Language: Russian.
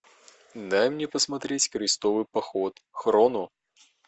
дай мне посмотреть крестовый поход хроно